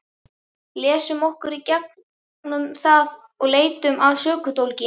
Lesum okkur í gegnum það og leitum að sökudólgi.